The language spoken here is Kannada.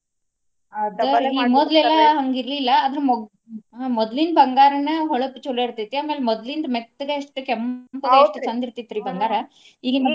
ಅದರಿ ಮೊದ್ಲು ಎಲ್ಲ ಹಂಗ ಇರ್ಲಿಲ್ಲಾ ಆದ್ರ ಮೊದ್ಲ ಮೊದ್ಲಿನ ಬಂಗಾರನ ಹೊಳಪ ಚಲೊ ಇರ್ತೆತಿ. ಆಮ್ಯಾಲ ಮೊದ್ಲಿಂದ ಮೆತ್ತಗ ಎಷ್ಟು ಕೆಂಪಗ ಎಷ್ಟು ಚಂದ ಇರ್ತಿತ್ರಿ ಬಂಗಾರಾ. ಈಗಿನ ಬಂಗಾರಾ .